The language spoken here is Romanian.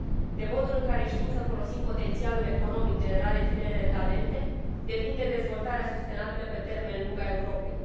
De modul în care știm să folosim potențialul economic generat de tinerele talente depinde dezvoltarea sustenabilă pe termen lung a Europei.